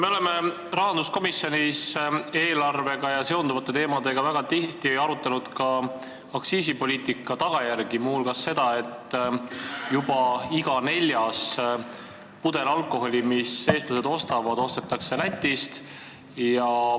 Me oleme rahanduskomisjonis eelarve ja sellega seonduvate teemade puhul väga tihti arutanud ka aktsiisipoliitika tagajärgi, muu hulgas seda, et juba iga neljas pudel alkoholi, mida eestlased ostavad, ostetakse Lätist.